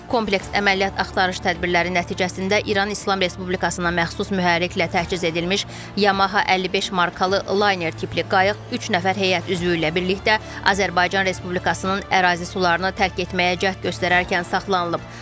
Kompleks əməliyyat axtarış tədbirləri nəticəsində İran İslam Respublikasına məxsus mühərriklə təchiz edilmiş Yamaha 55 markalı layner tipli qayıq üç nəfər heyət üzvü ilə birlikdə Azərbaycan Respublikasının ərazi sularını tərk etməyə cəhd göstərərkən saxlanılıb.